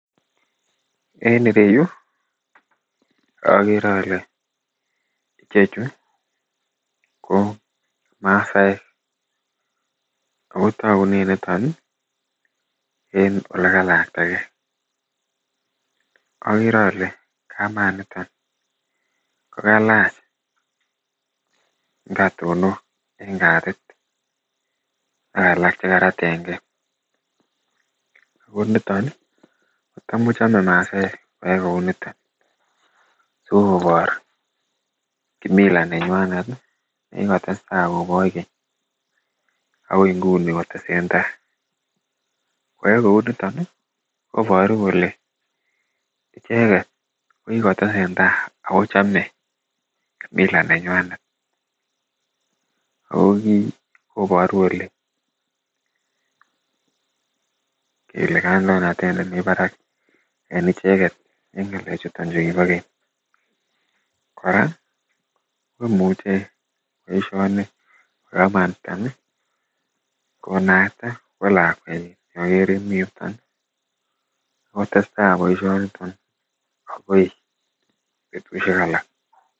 en ireyuu ogere ole ichechu ko masaek agotugunen niton iih en olegalaktagee, ogere ole kamaa niton kogalach ngatonok en katit ak alalk chegaraten gee ooh niton iih kotom kochome masaek koyai kouu niton, sigoboor kimila nenywanet iih negigotestai koboch keny agoi inguni kotesen tai, koyaai kouu niton iih koboruu kole icheget kokigotesen taii ago chome mila nenywanet ago kii koboruu kole kele kandoinatet nemii barak en icheget en ngalek chuton chegibo keny, koraa komuche koisuanik kamat niton iih konaisi kolakwatnyin ogere mii yuton agotestai boishoniton agoi betushek alak.